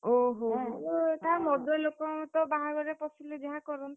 ଓହୋ ହୋ!ମଦୁଆ ଲୋକ ତ ବାହାଘରେ ପଶିଲେ ଯାହା କରନ୍ତି,